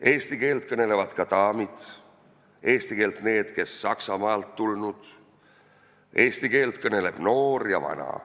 Eesti keelt kõnelevad ka daamid, eesti keelt kõnelevad need, kes Saksamaalt tulnud, eesti keelt kõneleb noor ja vana.